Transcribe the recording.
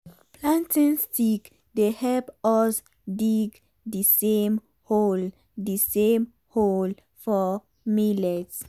planting stick dey help us dig d same hole d same hole for millet.